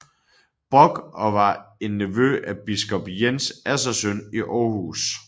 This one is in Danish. Brock og var en nevø af biskop Jens Assersøn i Aarhus